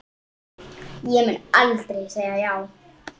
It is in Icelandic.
Ég mun aldrei segja já.